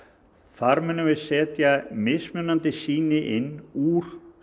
þar munum við setja mismunandi sýni inn úr